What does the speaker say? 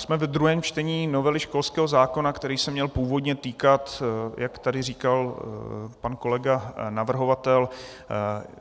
Jsme ve druhém čtení novely školského zákona, který se měl původně týkat, jak tady říkal pan kolega navrhovatel,